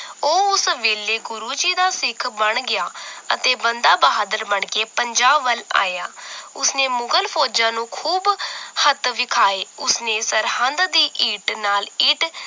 ਉਹ ਉਸ ਵੇਲੇ ਗੁਰੂ ਜੀ ਦਾ ਸਿੱਖ ਬਣ ਗਿਆ ਅਤੇ ਬੰਦਾ ਬਹਾਦਰ ਬਣ ਕੇ ਪੰਜਾਬ ਵੱਲ ਆਇਆ ਉਸਨੇ ਮੁਗ਼ਲ ਫੌਜਾਂ ਨੂੰ ਖੂਬ ਹੱਥ ਵਿਖਾਏ ਉਸਨੇ ਸਰਹੰਦ ਦੀ ਇੰਟ ਨਾਲ ਇੰਟ